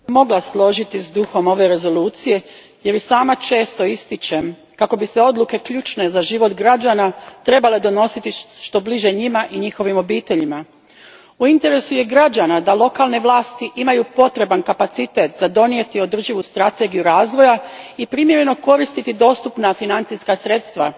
Gospođo predsjednice, načelno bih se mogla složiti s duhom ove Rezolucije jer i sama često ističem kako bi se odluke ključne za život građana trebale donositi što bliže njima i njihovim obiteljima. U interesu je građana da lokalne vlasti imaju potreban kapacitet za donijeti održivu strategiju razvoja i primjereno koristiti dostupna financijska sredstva.